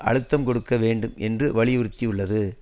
அழுத்தம் கொடுக்க வேண்டும் என்று வலியுறுத்தியுள்ளது